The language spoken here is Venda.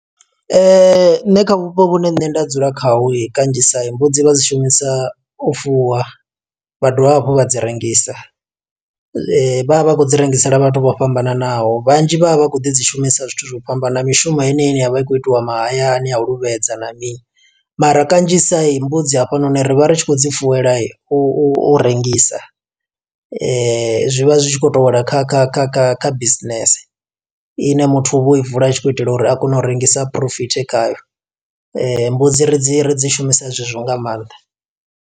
Nṋe kha vhupo vhune nṋe nda dzula khaho i kanzhisa, mbudzi vha dzi shumisa u fuwa. Vha dovha hafhu vha dzi rengisa, vha vha vha khou dzi rengisela vhathu vho fhambananaho. Vhanzhi vha vha vha khou ḓi dzi shumisa zwithu zwo fhambana, na mishumo heneyi ine ya vha i khou itiwa mahayani, ya luvha fhedza na mini. Mara kanzhisa mbudzi hafhanoni, ri vha ri tshi khou dzi fuwela u u u rengisa. Zwi vha zwi tshi khou to wela kha kha kha kha kha business, i ne muthu u vha o i vula a tshi khou itela uri a kone u i rengisa, a phurofite khayo. Mbudzi ri dzi, ri dzi shumisa zwezwo nga maanḓa.